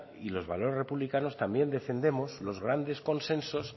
y los valores republicanos también defendemos los grandes consensos